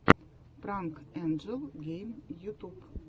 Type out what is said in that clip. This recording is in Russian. пранк энджел гейм ютуб